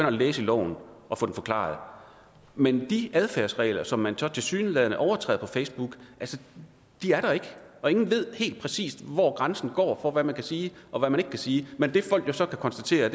og læse i loven og få det forklaret men de adfærdsregler som man så tilsyneladende overtræder på facebook er der ikke og ingen ved helt præcis hvor grænsen går for hvad man kan sige og hvad man ikke kan sige men det folk jo så kan konstatere